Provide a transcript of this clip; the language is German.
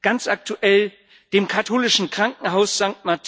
Ganz aktuell dem katholischen Krankenhaus St.